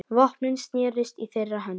Vopnin snerust í þeirra höndum.